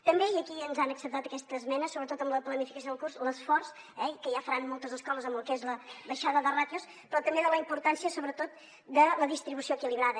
també i aquí ens han acceptat aquesta esmena sobretot en la planificació del curs l’esforç eh que ja faran moltes escoles amb el que és la baixada de ràtios però també la importància sobretot de la distribució equilibrada